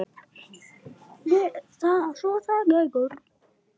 Svo er það Gaukur.